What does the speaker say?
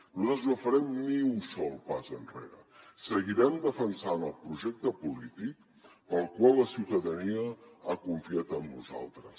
nosaltres no farem ni un sol pas enrere seguirem defensant el projecte polític pel qual la ciutadania ha confiat en nosaltres